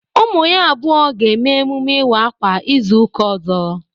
Ụmu ya abụo ga-eme emume ịwa akwa ịzu ụka ọzọ.